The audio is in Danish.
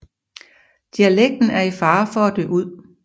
Dialekten er i fare for at dø ud